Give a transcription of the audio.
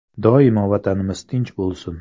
Doimo Vatanimiz tinch bo‘lsin.